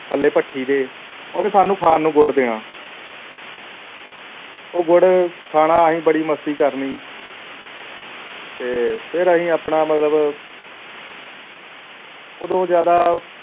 ਥੱਲੇ ਭੱਠੀ ਦੇ ਉਹਨੇ ਸਾਨੂੰ ਖਾਣ ਨੂੰ ਗੁੜ ਦੇਣਾ ਉਹ ਗੁੜ ਖਾਣਾ ਅਸੀਂ ਬੜੀ ਮਸਤੀ ਕਰਨੀ ਤੇ ਫਿਰ ਅਸੀਂ ਆਪਣਾ ਮਤਲਬ ਉਦੋਂ ਜ਼ਿਆਦਾ